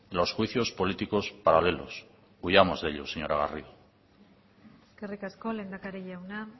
los juicios políticos paralelos huyamos de ellos señora garrido eskerrik asko lehendakari jauna